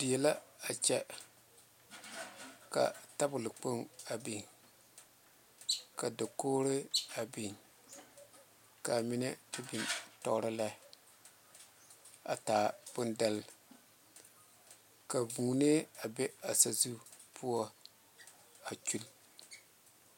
Die la a kyɛ ka tabole kpoŋ a big ka a dokoŋre beŋ ka mine beŋ tuoro la a ta boŋ dɛli ka vūū a be a saa zu poɔ a.